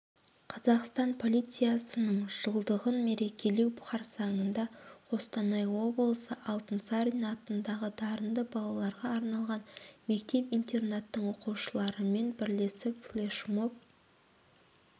қазақстан полициясының жылдығын мерекелеу қарсаңында қостанай облысы алтынсарин атындағы дарынды балаларға арналған мектеп-интернаттың оқушыларымен бірлесіп флешмоб